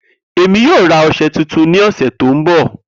Emi yoo ra ọṣẹ tuntun ni ọsẹ to nbọ.